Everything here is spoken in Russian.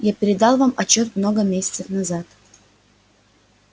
я передал вам отчёт много месяцев назад